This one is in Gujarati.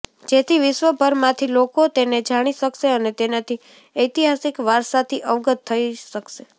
જેથી વિશ્વભરમાંથી લોકો તેને જાણી શકશે અને તેનાથી ઐતિહાસિક વારસાથી અવગત થઇ શકશે